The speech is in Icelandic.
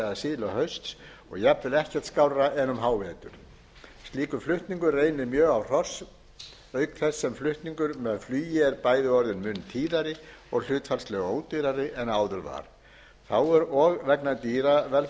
eða síðla hausts og jafnvel ekkert skárra en um hávetur slíkur flutningur reynir mjög á hross auk þess sem flutningur með flugi er bæði orðinn mun tíðari og hlutfallslega ódýrari en áður var þá er og vegna dýravelferðarsjónarmiða tekið upp